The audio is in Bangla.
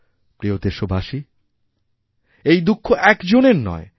প্রিয়দেশবাসী এই দুঃখ একজনের নয়